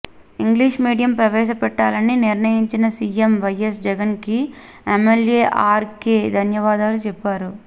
English medium ప్రవేశపెట్టాలని నిర్ణయించిన CM YS జగన్కి ఎమ్మెల్యే ఆర్కే ధన్యవాదాలు చెప్పారు